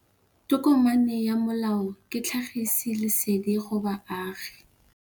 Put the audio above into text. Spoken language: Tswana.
Tokomane ya molao ke tlhagisi lesedi go baagi.